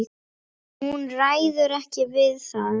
Hún ræður ekki við það.